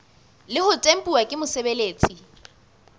le ho tempuwa ke mosebeletsi